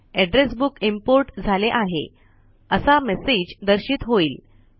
address book import झाले आहे असा मेसेज दर्शित होईल